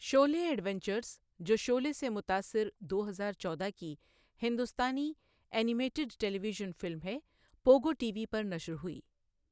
شعلے adventures, جو شعلے سے متاثر دو ہزار چودہ کی ہندوستانی animated television film ہے، پوگو ٹی وی پر نشر ہوئی۔